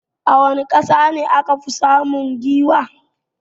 A wani ƙasa akafi samun giwa?